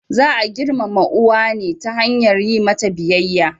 Za a girmama uwa ne ta hanyar yi mata biyayya.